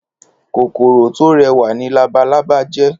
Kókóró tó rèwá ni làbálàbá jè